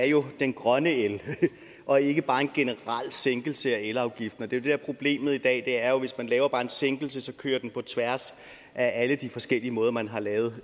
jo den grønne el og ikke bare en generel sænkelse af elafgiften det der er problemet i dag er jo at hvis man bare laver en sænkelse så kører den på tværs af alle de forskellige måder man har lavet